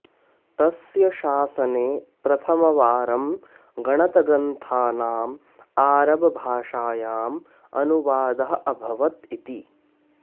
तस्य शासने प्रथमवारं गणतग्रन्थानाम् आरबभाषायाम् अनुवादः अभवत् इति